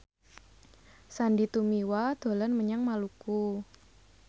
Sandy Tumiwa dolan menyang Maluku